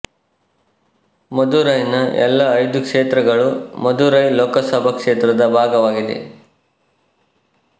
ಮಧುರೈನ ಎಲ್ಲಾ ಐದು ಕ್ಷೇತ್ರಗಳೂ ಮಧುರೈ ಲೋಕಸಭಾ ಕ್ಷೇತ್ರ ದ ಭಾಗವಾಗಿದೆ